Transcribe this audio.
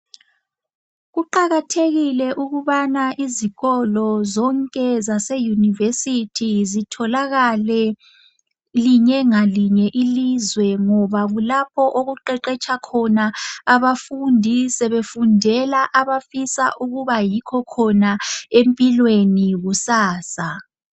Kuqakathekile ukubana izikolo zonke zaseYunivesi zitholakale linye ngalinye iizwe ngoba kulapho okuqeqetsha khona abafundi sebefundela abafisa ukuba yikho khona empilweni kusasa.